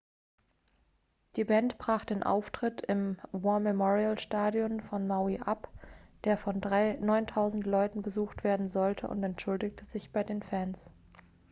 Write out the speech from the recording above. die band brach den auftritt im war-memorial-stadion von maui ab der von 9.000 leuten besucht werden sollte und entschuldigte sich bei den fans